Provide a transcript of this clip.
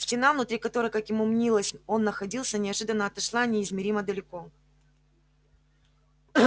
стена внутри которой как ему мнилось он находился неожиданно отошла неизмеримо далеко